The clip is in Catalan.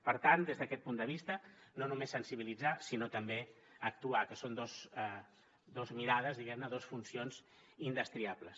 per tant des d’aquest punt de vista no només sensibilitzar sinó també actuar que són dos mirades diguem ne dos funcions indestriables